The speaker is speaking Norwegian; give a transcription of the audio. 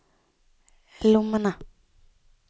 lommene